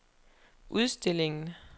udstillingen